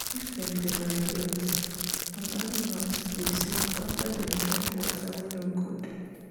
if them dey migrate some animals dey sick after dem drink water wen nor good.